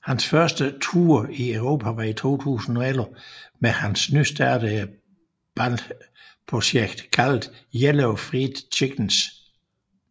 Hans første tour i Europa var i 2011 med hans nystartede band projekt kaldet Yellow Fried Chickenz